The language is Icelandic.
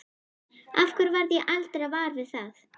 Af hverju varð ég aldrei var við það?